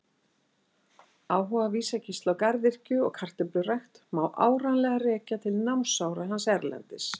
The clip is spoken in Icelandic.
Áhuga Vísa-Gísla á garðyrkju og kartöflurækt má áreiðanlega rekja til námsára hans erlendis.